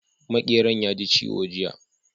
Maƙeran ya ji ciwo jiya